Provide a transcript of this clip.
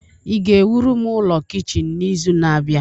ị ga-ewuru m ụlọ kichin n'izu na-abịa?